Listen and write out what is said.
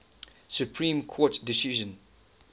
supreme court decision